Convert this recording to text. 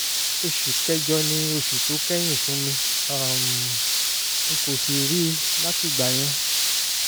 oṣù kẹjọ ni oṣù tó kẹ̀yìn fún mi um n kò sì rí i látìgbà yẹn